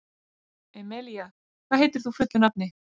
Emelía, hvað heitir þú fullu nafni?